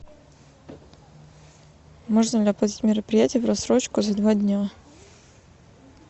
можно ли оплатить мероприятие в рассрочку за два дня